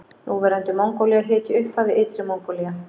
Núverandi Mongólía hét í upphafi Ytri Mongólía.